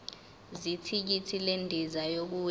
zethikithi lendiza yokuya